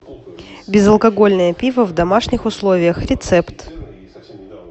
безалкогольное пиво в домашних условиях рецепт